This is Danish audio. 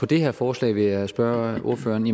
det her forslag vil jeg spørge ordføreren